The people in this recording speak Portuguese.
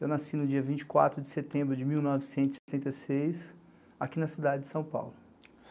Eu nasci no dia vinte e quatro de setembro de mil novecentos e sessenta e seis, aqui na cidade de São Paulo.